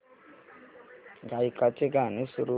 गायकाचे गाणे सुरू कर